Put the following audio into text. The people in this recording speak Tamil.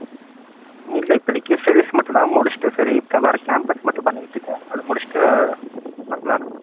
உம் இல்ல இப்போதைக்கு studies மட்டும் தான். முடிச்சிட்டு சரி வர்ற campus மட்டும் பண்ணிக்கிட்டு இருக்கேன் அதை முடிச்சிட்டு பாக்கலாம்னு.